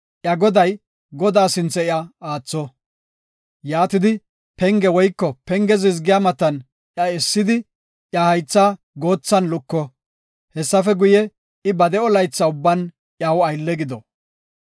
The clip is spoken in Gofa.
iya goday, Godaa sinthe iya aatho. Yaatidi, penge woyko penge zizgiya matan iya essidi, iya haythaa goothan luko. Hessafe guye, I ba de7o laytha ubban iyaw aylle gido.